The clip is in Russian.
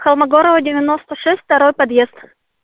холмогорова девяносто шесть второй подъезд